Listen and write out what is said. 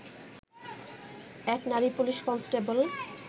এক নারী police constable